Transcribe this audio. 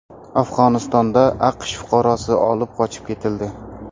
Afg‘onistonda AQSh fuqarosi olib qochib ketildi.